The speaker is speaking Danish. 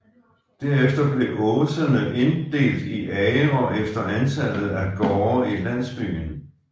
Derefter blev åsene inddelt i agre efter antallet af gårde i landsbyen